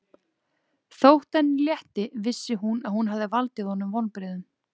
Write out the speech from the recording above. Þótt henni létti vissi hún að hún hafði valdið honum vonbrigðum.